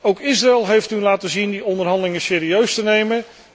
Ook Israël heeft u laten zien die onderhandelingen serieus te nemen.